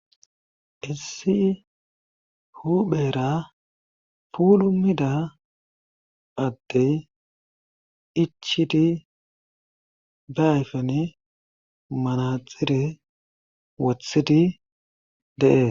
issi huphera pulumida atte ichidi beayfen manaxire wothidi dee